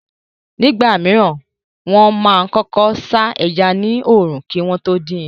Nígbà mìíràn, wọ́n máa kọ́kọ́ sá ẹja ní òòrùn kí wọ́n tó dín in.